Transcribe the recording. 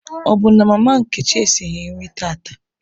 Ọ bụ na mama Nkechi esighị nri tata?